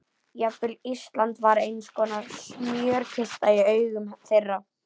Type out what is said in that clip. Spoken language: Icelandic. Jafnvel Ísland var einskonar smjörkista í augum þeirra.